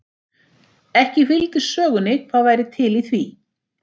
Ekki fylgdi sögunni hvað væri til í því.